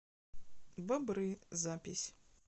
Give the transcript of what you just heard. бобры запись